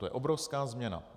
To je obrovská změna.